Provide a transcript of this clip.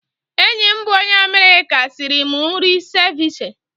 Enyi m bụ onye Amerịka sịrị m nri seviche.